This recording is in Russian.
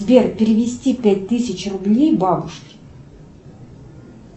сбер перевести пять тысяч рублей бабушке